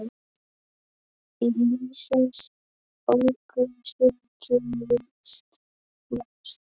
Í lífsins ólgusjó gerist margt.